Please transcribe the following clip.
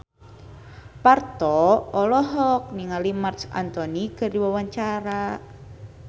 Parto olohok ningali Marc Anthony keur diwawancara